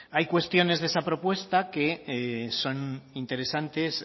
hay cuestiones de esa propuesta que son interesantes